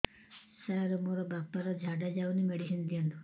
ସାର ମୋର ବାପା ର ଝାଡା ଯାଉନି ମେଡିସିନ ଦିଅନ୍ତୁ